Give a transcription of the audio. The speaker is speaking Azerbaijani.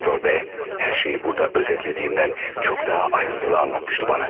Doktor B hər şeyi burada özətlədiyimdən çox daha ayrıntılı anlatmışdı bana.